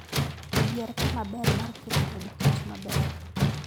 Yier kama ber mar keto od kich maber